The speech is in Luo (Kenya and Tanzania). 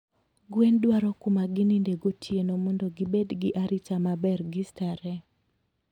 gwen dwaro kumagininde gotieno mondo gibed gi arita maber gi starehe.